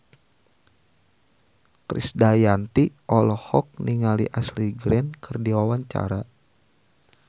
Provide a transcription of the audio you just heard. Krisdayanti olohok ningali Ashley Greene keur diwawancara